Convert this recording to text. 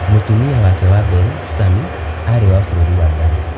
Mũtumia wake wa mbere, Sami, aarĩ wa bũrũri wa Ghana.